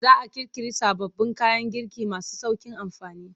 Za a ƙirƙiri sababbin kayan girki masu sauƙin amfani.